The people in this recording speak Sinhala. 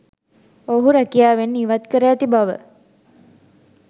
ඔවුහු රැකියාවෙන් ඉවත් කර ඇති බව